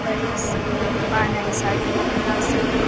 बड़े से दुकान आय साड़ी दुकान आसे।